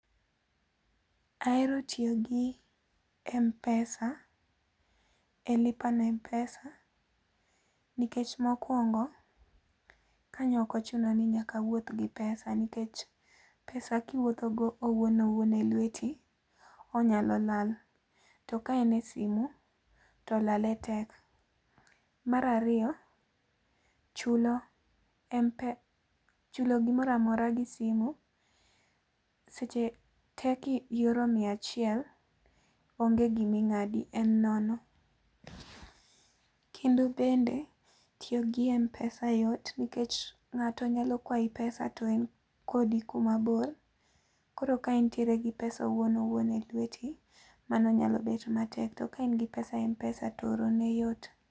Ahero tiyo gi Mpesa e Lipa na Mpesa nikech mokuongo, kanyo okochuna ni nyaka awuoth gi pesa nikech pesa kiwuothogo owuon owuon e lweti, onyalo lal. To ka en e simu to lale tek. Mar ariyo, chulo gimora mora gi simu seche tee kioro miachiel, onge gima ing'adi. En nono. Kendo bende, tiyo gi Mpesa yot nikech ng'ato nyalo kwayi pesa to en kodi kuma bor. Koro ka intiere gi pesa owuon owuon e lweti, mano nyalo bedo matek. To ka in gi pesa e Mpesa to oro ne yot.